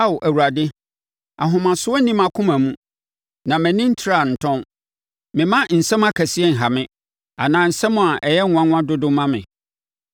Ao Awurade, ahomasoɔ nni mʼakoma mu, na mʼani ntraa ntɔn; memma nsɛm akɛseɛ nha me anaa nsɛm a ɛyɛ nwanwa dodo ma me.